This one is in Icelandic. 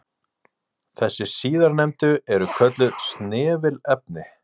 Þessi síðarnefndu eru kölluð snefilefni.